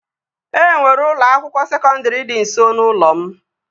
E nwere ụlọ akwụkwọ sekọndri dị nso n'ụlọ m